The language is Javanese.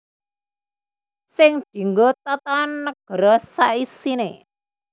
Sing dienggo totohan nagara saisiné